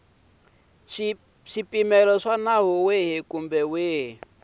swipimelo swa nawu wihi kumbe